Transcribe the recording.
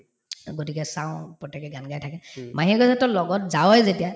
গতিকে চাওঁ প্ৰত্যেকে গান গাই থাকে মাহীয়ে কই যে তই লগত যাৱই যেতিয়া